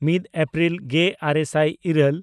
ᱢᱤᱫ ᱮᱯᱨᱤᱞ ᱜᱮᱼᱟᱨᱮ ᱥᱟᱭ ᱤᱨᱟᱹᱞ